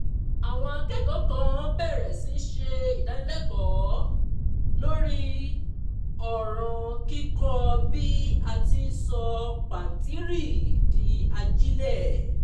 àwọn akẹ́kọ̀ọ́ kan bẹ̀rẹ̀ sí í ṣe ìdánilẹ́kọ̀ọ́ lórí ọ̀ràn kíkọ́ bí a ti í sọ pàǹtírí di ajílẹ̀